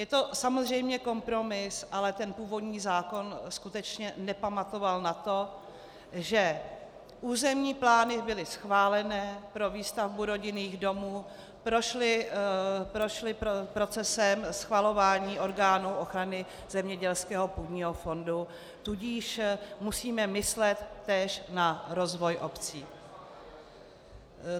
Je to samozřejmě kompromis, ale ten původní zákon skutečně nepamatoval na to, že územní plány byly schválené pro výstavbu rodinných domů, prošly procesem schvalování orgánů ochrany zemědělského půdního fondu, tudíž musíme myslet též na rozvoj obcí.